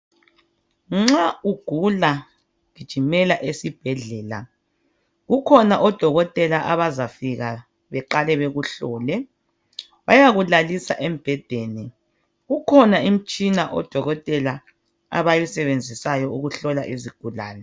Nxa ugula gijimela esibhedlela kukhona odokotela abazafika baqale bekuhlole bayakulalisa embhedeni kukhona imitshina odokotela abayisebenzisayo ukuhlola izigulane